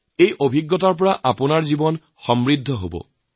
এই উপলব্ধিয়ে আপোনালোক জীৱন সমৃদ্ধ কৰি তুলিব